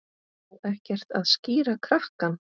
Á ekkert að skíra krakkann?